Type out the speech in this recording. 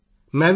ਤਮਿਲ ਵਿੱਚ ਜਵਾਬ